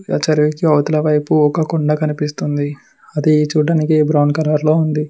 అవతల వైపు ఒక కొండ కనిపిస్తుంది అది చూడ్డానికి బ్రౌన్ కలర్ లో ఉంది.